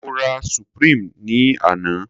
Mo rà supreme ní àná.